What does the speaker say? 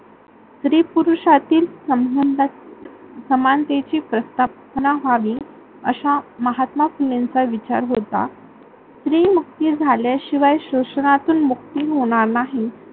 स्त्री-पुरुषातील समानतेची प्रस्थापना व्हावी असा महात्र्मा फुलेंचा विचार होता. स्त्री मुक्ती झाल्या शिवाय शोषणातून मुक्ती होणार नाही.